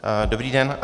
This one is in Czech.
Dobrý den.